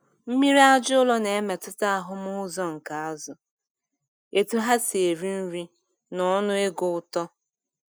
Mmiri aja ụlọ na-emetụta ahụm uzo nke azụ, etu ha si eri nri, na ọnụego uto.